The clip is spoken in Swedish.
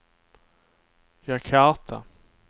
Jakarta